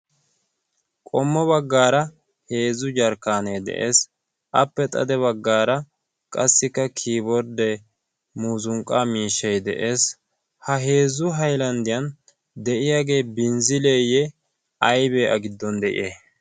qommo baggaara heezzu jarkkaanee de'ees appe xade baggaara qassikka kiiborddee muzunqqa miishshai de'ees. ha heezzu hailanddiyan de'iyaagee binzzileeyye aybee a giddon de'ees.